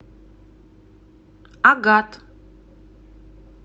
агат